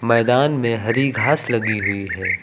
मैदान में हरी घास लगी हुई है।